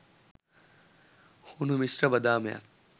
හුණු මිශ්‍ර බදාමයක්